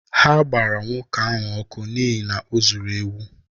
Ha gbara nwoke ahụ ọkụ n’ihi na o zuru ewu.